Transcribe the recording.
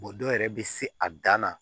dɔw yɛrɛ bɛ se a dan na